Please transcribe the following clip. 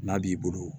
N'a b'i bolo